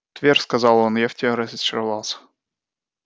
твер сказал он я в тебе разочаровался